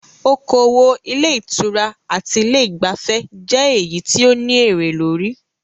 Okoòwò ilé ìtura àti ilé ìgbafẹ́ jẹ èyí tí o ní èré lórí.